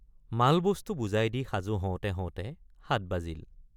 মালবস্তু বোজাই দি সাজু হওঁতে হওঁতে সাত বাজিল।